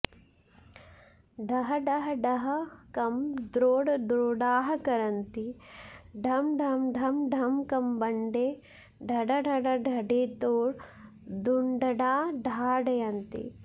डहडहडहकं द्रोटद्रोटाः करन्ती ढं ढं ढं ढुङ्कमण्डे ढढढढढढितो ढुञ्ढडा ढाढयन्ती